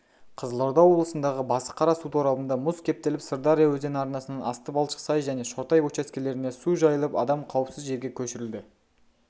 қызылорда облысындағы басықара су торабында мұз кептеліп сырдария өзені арнасынан асты балшық-сай және шортай учаскелеріне су жайылып адам қауіпсіз жерге көшірілді